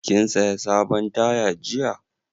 Kin saya sabon taya jiya?